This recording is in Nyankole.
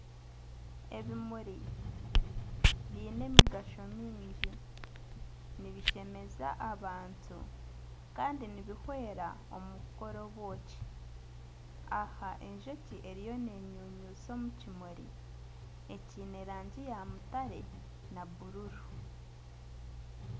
Ebimuri byiine emigasho mingi nibishemeza abantu kandi nibihwera omu kukora obwoki, aha enjoki eriyo nenyunyusha omu kimuri ekiine rangi ya mutare na buruuru.